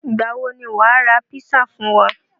Ìgbà wo ni wàá ra písà fún wa?